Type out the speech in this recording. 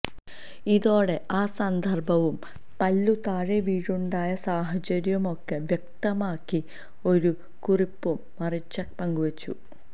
ഇതോടെ ആ സന്ദർഭവും പല്ലു താഴെ വീഴാനുണ്ടായ സാഹചര്യവുമൊക്കെ വ്യക്തമാക്കി ഒരു കുറിപ്പും മരിച്ക പങ്കുവച്ചു